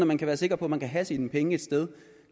man kan være sikker på at man kan have sine penge et sted